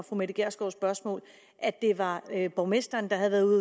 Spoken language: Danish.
fru mette gjerskovs spørgsmål at det var borgmesteren der havde været ude